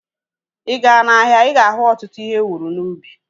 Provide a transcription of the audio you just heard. Ịga n'ahia, ịga ahu ọtụtụ ihe ewuru n'ubi